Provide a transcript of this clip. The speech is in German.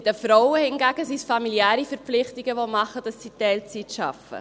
Bei den Frauen hingegen sind es familiäre Verpflichtungen, die machen, dass sie Teilzeit arbeiten.